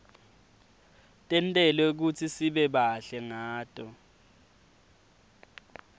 tentelwe kutsisibe bahle ngato